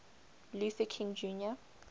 luther king jr